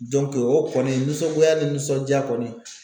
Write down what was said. o kɔni nisɔngoya ni nisɔndiya kɔni